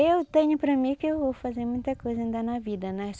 Eu tenho para mim que eu vou fazer muita coisa ainda na vida, né?